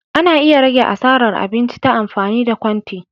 Ana iya rage asaran abinci ta amfani da kwante.